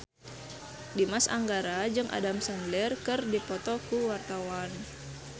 Dimas Anggara jeung Adam Sandler keur dipoto ku wartawan